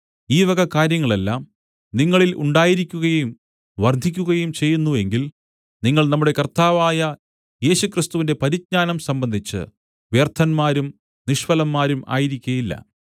ഈ കാര്യങ്ങളെല്ലാം നിങ്ങളിൽ ഉണ്ടായിരിക്കുകയും വർദ്ധിക്കുകയും ചെയ്യുന്നു എങ്കിൽ നിങ്ങൾ നമ്മുടെ കർത്താവായ യേശുക്രിസ്തുവിന്റെ പരിജ്ഞാനം സംബന്ധിച്ച് വ്യർത്ഥന്മാരും നിഷ്ഫലന്മാരും ആയിരിക്കയില്ല